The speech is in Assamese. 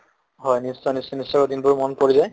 হয় নিশ্চয় নিশ্চয় নিশ্চয় দিনবোৰ মনত পৰি যায়